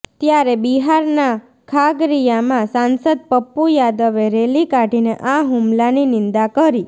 ત્યારે બિહારના ખાગરિયામાં સાંસદ પપ્પૂ યાદવે રેલી કાઢીને આ હુમલાની નિંદા કરી